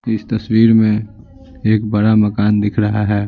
इस तस्वीर में एक बड़ा मकान दिख रहा है।